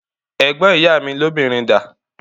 Ẹ̀gbọ́n ìyá mi lóbìnrin dà?